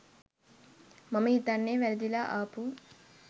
මම හිතන්නේ වැරදිලා ආපු